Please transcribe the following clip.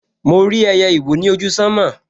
Mo rí ẹyẹ ìwó ni ojú sánmọ̀